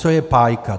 Co je pájka?